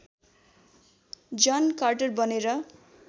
जन कार्टर बनेर